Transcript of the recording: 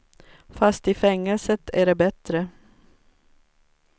Fast i fängelset är det bättre.